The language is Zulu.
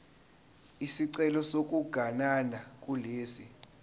isicelo sokuganana kulesi